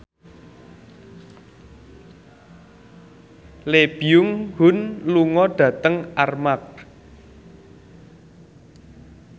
Lee Byung Hun lunga dhateng Armargh